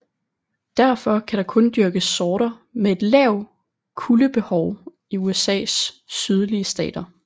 Derfor kan der kun dyrkes sorter med et lavt kuldebehov i USAs sydlige stater